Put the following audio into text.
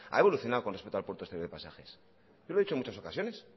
evolucionado con respecto al puerto de exterior de pasajes yo lo he dicho en muchas ocasiones